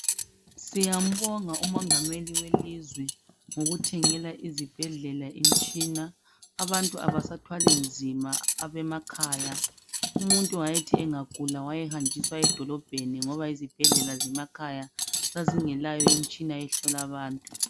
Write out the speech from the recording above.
Siyambonga umongameli welizwe ngokuthengela izibhedlela imtshina abantu abasathwali nzima abemakhaya. Umuntu wayethi engagula wayehanjiswa edolobheni ngoba izibhedlela zemakhaya zazingelayo imitshina ehlola abantu.